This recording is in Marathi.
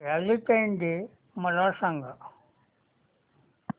व्हॅलेंटाईन्स डे मला सांग